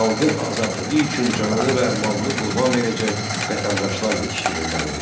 Xalqın azadlığı üçün canını və malını qurban verəcək vətəndaşlar yetişdirilməlidir.